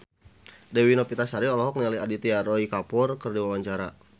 Dewi Novitasari olohok ningali Aditya Roy Kapoor keur diwawancara